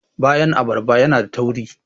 bayan abarba yana da tauri